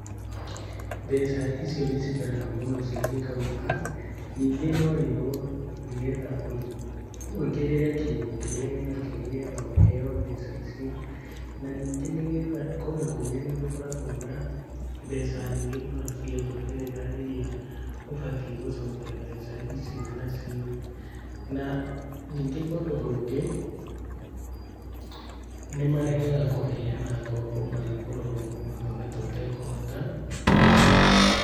Mbeca icio nĩ cikaraga mũno cingĩkauma ningĩ no wĩrwo nĩgetha wũigĩrĩre kĩndũ kĩrĩa wĩnakĩo nĩgetha ũheo mbeca icio na ningĩ nĩgetha, kũndũ kũingĩ nĩ gũkoragwo na mbeca nyingĩ mũno cia njoherera iria ũbatie gũcokia mbeca icio nacio na ningĩ kũndũ kũngĩ nĩmaregaga kũheana ngombo magĩkũrora ũguo taũta kũhota kũrĩha.